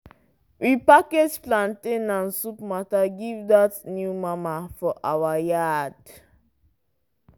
we package plantain and soup matter give dat new mama for our yard.